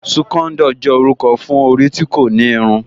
Súkóndò jẹ́ orúkọ fún orí tí kò ní irun